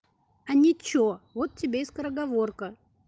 а ничего вот тебе и скороговорка